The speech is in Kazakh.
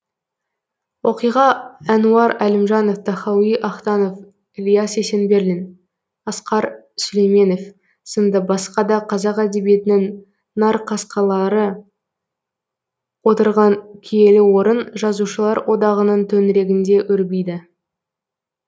оқиға әнуар әлімжанов тахауи ахтанов ілияс есенберлин асқар сүлейменов сынды басқа да қазақ әдебиетінің нарқасқалары отырған киелі орын жазушылар одағының төңірегінде өрбиді